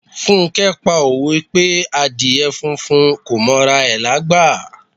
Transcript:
Funke pa òwe pé Àdíè funfun kò m'ora rẹ̀ lágbà.